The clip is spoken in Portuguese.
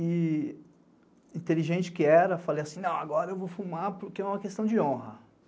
E inteligente que era, falei assim, não, agora eu vou fumar porque é uma questão de honra.